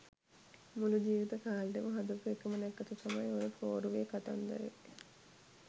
මුළු ජීවිත කාලෙටම හදපු එකම නැකත තමයි ඔය පෝරුවේ කතන්දරේ